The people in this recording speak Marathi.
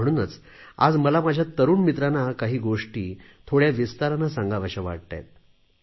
म्हणूनच आज मला माझ्या तरुण मित्रांना काही गोष्टी थोड्या विस्ताराने सांगाव्याशा वाटताहेत